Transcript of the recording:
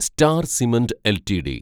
star Cement LTD